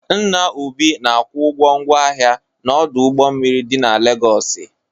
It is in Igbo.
Nna Obi na-akwụ ụgwọ ngwa ahịa n'ọdụ ụgbọ mmiri dị na Legọsị.